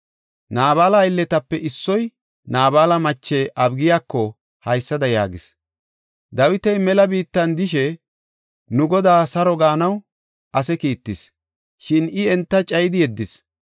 Naabala aylletape issoy Naabala mache Abigiyako haysada yaagis; “Dawiti mela biittan de7ishe nu godaa saro gaanaw ase kiittis, shin I enta cayidi yeddis.